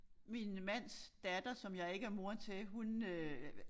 Min mands datter som jeg ikke er mor til hun øh